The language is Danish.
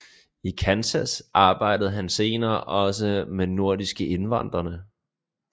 I Kansas arbejdede han senere også med nordiske indvandrerne